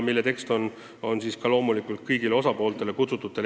Nende tekst on ka loomulikult kõigile osapooltele edastatud.